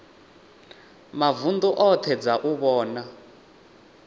mavunḓu oṱhe dza u vhona